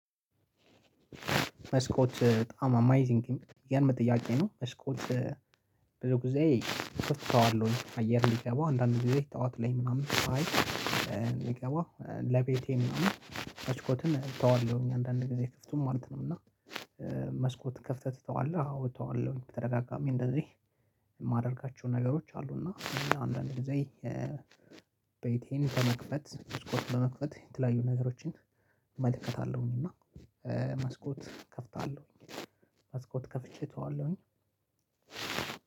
መስኮት በጣም አሜይዚንግ ቲንግ የሚገርም ጥያቄ ነው። መስኮች ብዙ ጊዜ እከፍተዋለሁኝ አየር እንዲገባ፣ አንዳንድ ጊዜ ጠዋት ላይ ምናምን አይ እንዲገባ ለቤቴ ምናምን መስኮትን እተዋለሁኝ፣ አንዳንዴ ጊዜ ክፍቱን ማለት ነው እና መስኮት ክፍተህ ትተዋለህ? አዎ አተዋወለሁኝ ተደጋጋሚ እንደዚህ የማደርጋቸውን ነገሮች አሉ እና አንዳንድ ጊዜ ቤቴን በመክፈት መስኮት በመክፈት የተለያዩ ነገሮችን እመለከታለሁኝ እና መስኮት ከፍታለሁኝ። መስኮት ከፍቼ እተዋለሁኝ